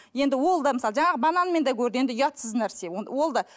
енді ол да мысалы жаңағы банан мен де көрді енді ұятсыз нәрсе ол да